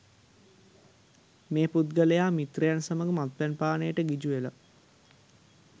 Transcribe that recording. මේ පුද්ගලයා මිත්‍රයන් සමග මත්පැන් පානයට ගිජු වෙලා